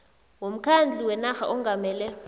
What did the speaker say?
womkhandlu wenarha ongamele